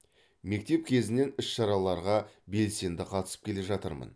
мектеп кезінен іс шараларға белсенді қатысып келе жатырмын